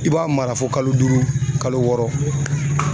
I b'a mara fo kalo duuru kalo wɔɔrɔ.